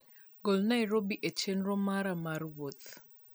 gol Nairobi e chenro mara mar wuoth.